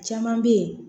Caman bɛ yen